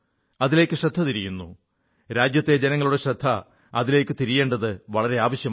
അതിലേക്കു ശ്രദ്ധ തിരിയുന്നു രാജ്യത്തെ ജനങ്ങളുടെയും ശ്രദ്ധ അതിലേക്കു തിരിയേണ്ടത് വളരെ ആവശ്യമാണ്